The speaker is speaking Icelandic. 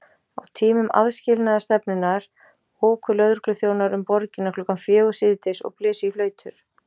Á tímum aðskilnaðarstefnunnar óku lögregluþjónar um borgina klukkan fjögur síðdegis og blésu í flautur.